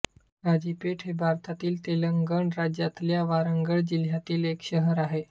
काझीपेठ हे भारतातील तेलंगण राज्यातल्या वारंगळ जिल्ह्यातील एक शहर आहे